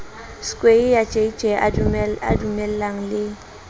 skweyiya jj ba dumellaneng le